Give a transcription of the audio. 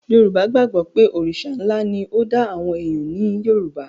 Yorùbá gbàgbọ́ pé Òrìṣà ńlá ni ó dá àwọn èèyàn ní Yorùbá